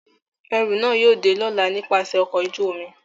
Ẹru náa yóò de lọla nipasẹ ọkọ oju-omi.